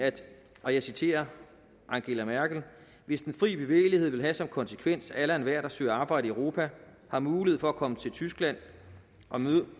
og jeg citerer angela merkel hvis den frie bevægelighed vil have som konsekvens at alle og enhver der søger arbejde i europa har mulighed for at komme til tyskland og